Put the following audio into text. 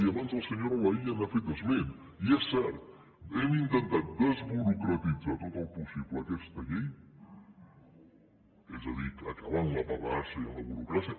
i abans la senyora laïlla hi ha fet esment i és cert hem intentat desburocratitzar tot el possible aquesta llei és a dir acabar amb la paperassa i la burocràcia